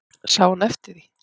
Sá hún eftir því?